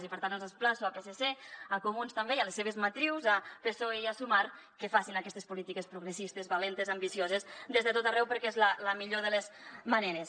i per tant els emplaço al psc a comuns també i a les seves matrius a psoe i a sumar que facin aquestes polítiques progressistes valentes ambicioses des de tot arreu perquè és la millor de les maneres